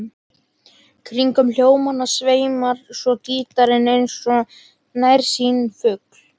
Kringum hljómana sveimar svo gítarinn eins og nærsýnn fugl.